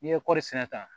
N'i ye kɔri sɛnɛ ta